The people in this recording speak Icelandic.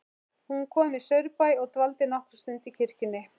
Hún kom í Saurbæ og dvaldi nokkra stund í kirkjunni.